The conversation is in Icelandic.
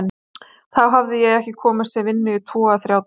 Þá hafði ég ekki komist til vinnu í tvo eða þrjá daga.